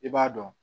I b'a dɔn